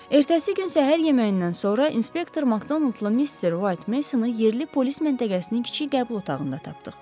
Ertəsi gün səhər yeməyindən sonra inspektor Macdonaldla Mister White Mesonu yerli polis məntəqəsinin kiçik qəbul otağında tapdıq.